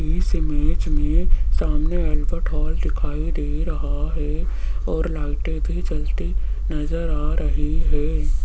इस इमेज में सामने अल्बर्ट हॉल दिखाई दे रहा है और लाइटें भी जलती नजर आ रही है।